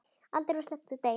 Aldrei var sleppt úr degi.